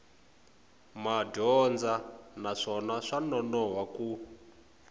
madyondza naswona swa nonoha ku